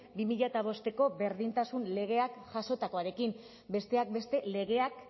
bi mila bosteko berdintasun legeak jasotakoarekin besteak beste legeak